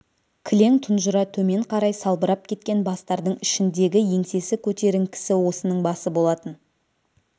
кілең тұнжыра төмен қарай салбырап кеткен бастардың ішіндегі еңсесі көтеріңкісі осының басы болатын